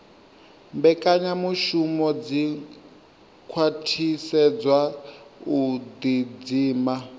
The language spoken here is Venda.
mbekanyamushumo dzi khwaṱhisedzaho u ḓidzima